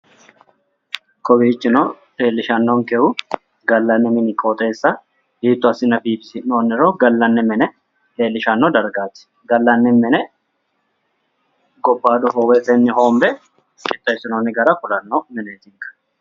Kowichino leellishanonkehu gallanni mini qooxeessa hiitto assine biiffinsoonniro gallani mine leellishshanno dargaati gallanni mine gobayido hoowetenni hoonbe qixxeessinoonni gara kulanno mineeti.